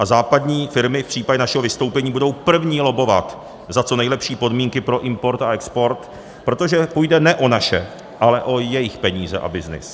A západní firmy v případě našeho vystoupení budou první lobbovat za co nejlepší podmínky pro import a export, protože půjde ne o naše, ale o jejich peníze a byznys.